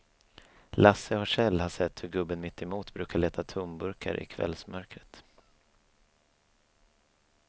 Lasse och Kjell har sett hur gubben mittemot brukar leta tomburkar i kvällsmörkret.